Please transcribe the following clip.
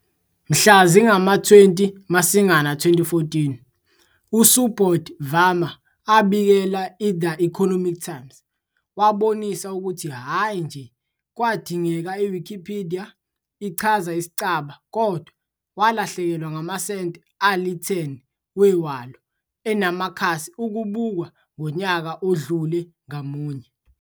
Mhla zingama-20 Masingana 2014, USubodh Varma abikela i "The Economic Times" wabonisa ukuthi hhayi nje kwadingeka Wikipedia ichaza isicaba kodwa "walahlekelwa ngamasenti ali-10 wewalo enamakhasi ukubukwa ngonyaka odlule ngamunye.